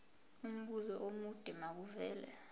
umbuzo omude makuvele